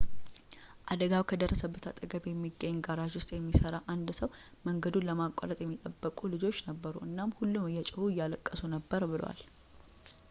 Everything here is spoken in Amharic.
አደጋው ከደረሰበት አጠገብ በሚገኝ ጋራዥ ውስጥ የሚሠራ አንድ ሰው መንገዱን ለማቋረጥ የሚጠብቁ ልጆች ነበሩ እናም ሁሉም እየጮሁ እያለቀሱ ነበር ብሏል